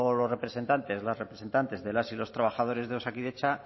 los representantes las representantes de las y los trabajadores de osakidetza